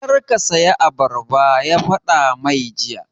Kar ka saya abarba! ya faɗa mai jiya